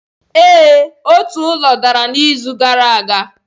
Ee, otu ụlọ dara n'izu gara aga.